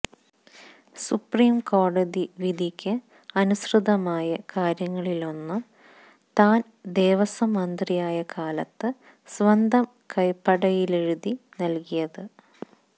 supreme കോടതി വിധിയ്ക്ക് അനുസൃതമായ കാര്യങ്ങളിലൊന്ന് താൻ ദേവസ്വം മന്ത്രിയായ കാലത്ത് സ്വന്തം കൈപ്പടയിലെഴുതി നൽകിയത്